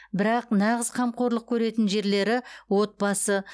бірақ нағыз қамқорлық көретін жерлері отбасы